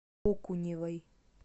окуневой